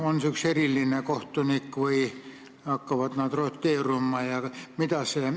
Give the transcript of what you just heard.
On selleks üks eriline kohtunik või hakkavad nad roteeruma?